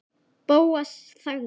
Bóas þagði.